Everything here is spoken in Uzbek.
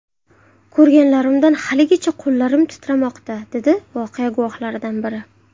Ko‘rganlarimdan haligacha qo‘llarim titramoqda”, dedi voqea guvohlaridan biri.